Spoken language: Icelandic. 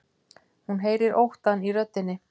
Hún heyrir óttann í röddinni.